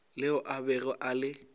leo a bego a le